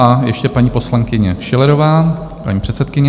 A ještě paní poslankyně Schillerová, paní předsedkyně.